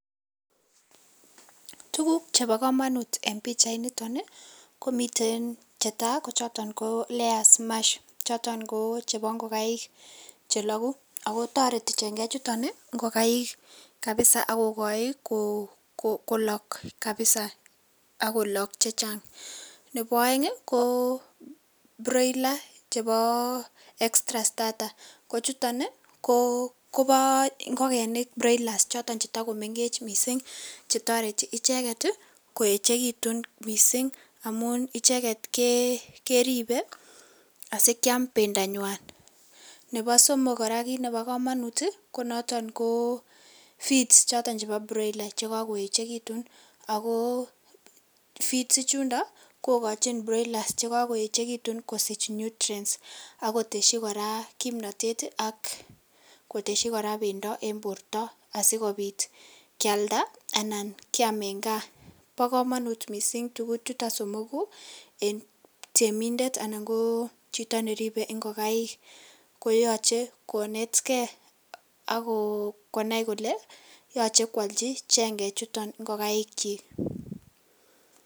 Tuguk chebo komonut en pichainiton ii komiten chetaa choton koo layers mash choton ko chebo ingokaik chelogu, ako toreti chengechuton ingokaik kabisa akokochi kolok kabisa ak kolok chechang, nebo oeng ii ko broiler chebo extra strarta kochuton kobo ingokenik broilers choton cheto komengech missing' chetoreti icheket ii koechekitun missing' amun icheket keribe asikiam bendanywan, nebo somok koraa kit nebo komonut konoton feeds chebo broiler chekokoechekitun ako feeds ichundo kokochin broilers chekokoechekitun kosich nutriens akoteshi koraa kimnotet akotehi koraa bendo asikobit kialda anan kiam en kaa bokomonut missing' tuguchuton somoku en teminnet anan kochito neribe ingokaik koyoche konetgee akonai kole yovhe kwolchi chengechuton ingokaikyik.